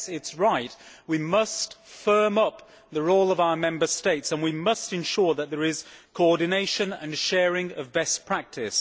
Yes, it is right, we must firm up the role of our Member States and we must ensure that there is coordination and sharing of best practice.